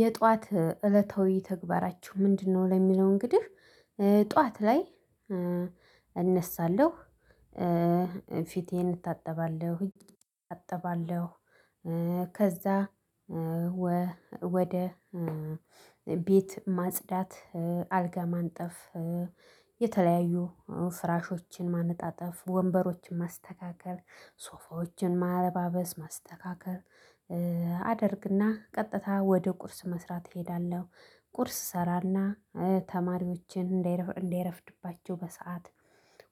የጧት እለታዊ ተግባራችሁ ምንድነው? ለሚለው እንግዲህ ጧት ላይ እነሳለሁ ፊቴን እታጠባለሁኝ እታጠባለሁ። ከዛ ወደ ቤት ማጽዳት አልጋ ማንጠፍ የተለያዩ ፍራሾችን ማነጣጠፍ ወንበሮችን ማስተካከል ሶፎችን ማለባበስ ማስተካከል አደርግና ቀጥታ ወደ ቁርስ መስራት እሄዳለሁ ቁርስ እሰራና ተማሪዎችን እንዳይረፍድባቸው በሰአት